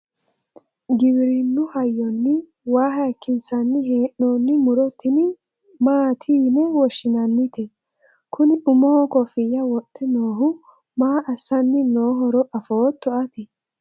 giwirinnu hayyonni waa hayiikinsanni hee'noonni muro tini maati yine woshshinannite? kuni umoho kofiya wodhe noohu maa assanni noohoro afootto ati?